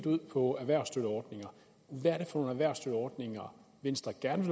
ud på erhvervsstøtteordninger hvad er det for erhvervsstøtteordninger venstre gerne